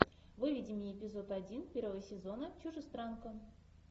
выведи мне эпизод один первого сезона чужестранка